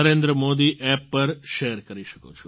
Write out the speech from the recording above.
Narendra Modi app પર share કરી શકો